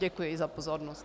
Děkuji za pozornost.